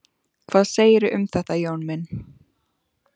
Hvað segirðu um þetta, Jón minn?